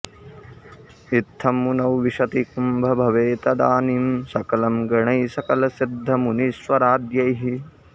इत्थं मुनौ विशति कुम्भभवे तदानीं सकलं गणैः सकलसिद्धमुनीश्वराद्यैः